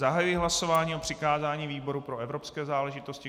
Zahajuji hlasování o přikázání výboru pro evropské záležitosti.